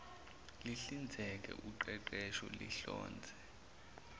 lihlinzeke uqeqesho lihlonze